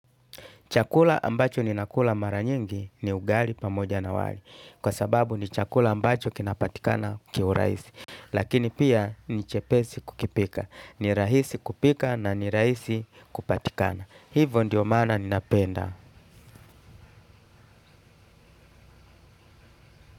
Chakula ambacho ni nakula mara nyingi ni ugali pamoja na wali. Kwa sababu ni chakula ambacho kinapatikana kiuraisi. Lakini pia ni chepesi kukipika. Ni rahisi kupika na ni rahisi kupatikana. Hivo ndio maana ninapenda.